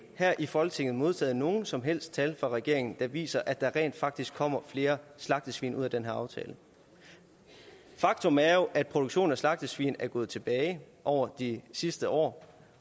her i folketinget modtaget nogen som helst tal fra regeringen der viser at der rent faktisk kommer flere slagtesvin ud af den her aftale faktum er jo at produktion af slagtesvin er gået tilbage over de sidste år